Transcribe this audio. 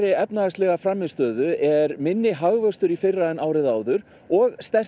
efnahagslegri frammistöðu er minni hagvöxtur í fyrra en árið áður og sterkt